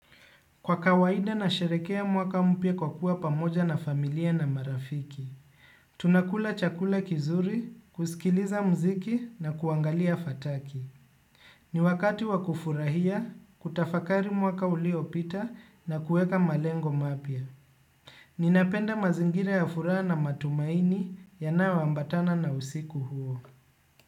Kwa kawaida nasherekea mwaka mpya kwa kuwa pamoja na familia na marafiki. Tunakula chakula kizuri, kusikiliza mziki na kuangalia fataki. Ni wakati wa kufurahia, kutafakari mwaka uliopita na kueka malengo mapya. Ninapenda mazingira ya furaha na matumaini yanayoambatana na usiku huo.